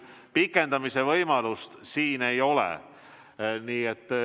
Pikendamise võimalust siin ei ole.